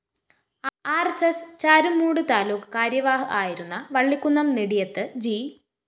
R S S Charummoodu taluk കാര്യവാഹ് ആയിരുന്ന Vallikunnam Nediyath G